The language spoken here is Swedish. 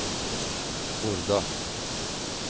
Horda